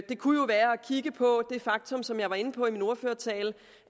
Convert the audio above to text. kunne jo være at kigge på det faktum som jeg var inde på i min ordførertale